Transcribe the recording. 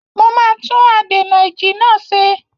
Mo máa tún adènà-ìjì náà ṣe.